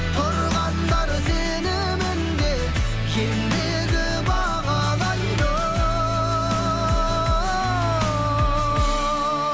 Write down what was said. тұрғандар сеніміне ендігі бағалайды оу